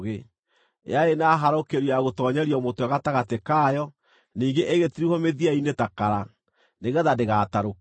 Yarĩ na harũkĩrio ya gũtoonyeria mũtwe gatagatĩ kayo, ningĩ ĩgĩtirihwo mĩthia-inĩ ta kara, nĩgeetha ndĩgatarũke.